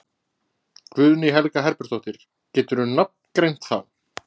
Guðný Helga Herbertsdóttir: Geturðu nafngreint þá?